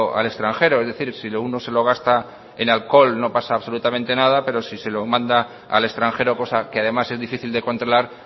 al extranjero es decir si lo uno se lo gasta en alcohol no pasa absolutamente nada pero si se lo manda al extranjero cosa que además es difícil de controlar